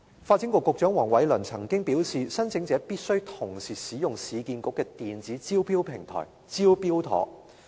發展局局長黃偉綸曾經表示，申請者必須同時使用市區重建局的電子招標平台"招標妥"。